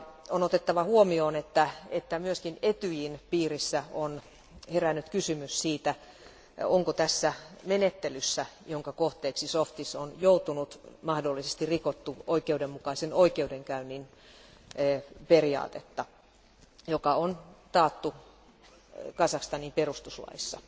On otettava huomioon, että myös ETYJin piirissä on herännyt kysymys siitä, onko tässä menettelyssä, jonka kohteeksi Zhovtis on joutunut, mahdollisesti rikottu oikeudenmukaisen oikeudenkäynnin periaatetta, joka on taattu Kazakstanin perustuslaissa.